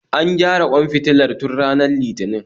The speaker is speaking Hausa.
An gyara ƙwan fitilar tun ranar litinin